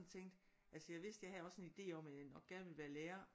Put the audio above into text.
Tænkte altså jeg vidste jeg havde også sådan en idé om at jeg nok gerne ville være lærer